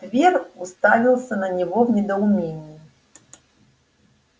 твер уставился на него в недоумении